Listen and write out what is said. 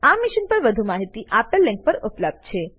આ મિશન પર વધુ માહિતી આપેલ લીંક પર ઉપલબ્ધ છે